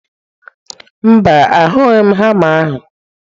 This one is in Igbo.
Mba, ahughị m hama ahụ.